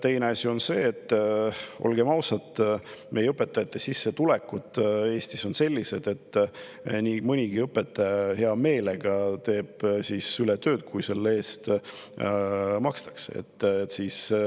Teine asi on see, et olgem ausad, meie õpetajate sissetulekud Eestis on sellised, et nii mõnigi õpetaja teeb ületunnitööd hea meelega, kui selle eest makstakse.